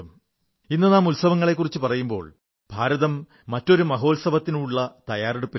ഇന്ന് നാം ഉത്സവങ്ങളെക്കുറിച്ചു പറയുമ്പോൾ ഭാരതം മറ്റൊരു മഹോത്സവത്തിനുകൂടിയുള്ള തയ്യാറെടുപ്പിലാണ്